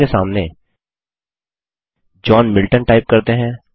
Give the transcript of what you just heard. author के सामने John Milton type करते हैं